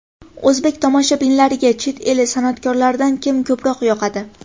O‘zbek tomoshabinlariga chet el san’atkorlaridan kim ko‘proq yoqadi?